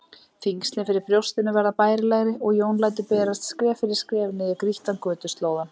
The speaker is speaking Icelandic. Þyngslin fyrir brjóstinu verða bærilegri og Jón lætur berast skref fyrir skref niður grýttan götuslóðann.